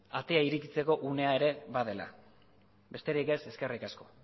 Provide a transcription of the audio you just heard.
atea irekitzeko unea ere badela besterik ez eskerrik asko